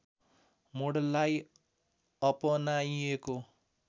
मोडललाई अपनाइएको